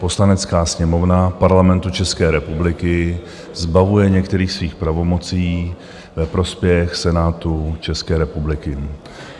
Poslanecká sněmovna Parlamentu České republiky zbavuje některých svých pravomocí ve prospěch Senátu České republiky.